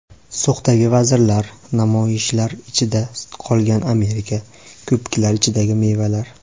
So‘xdagi vazirlar, namoyishlar ichida qolgan Amerika, ko‘piklar ichidagi mevalar.